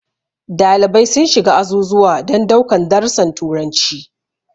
Dalibai sun shiga azuzuwa don daukan darusan turanci.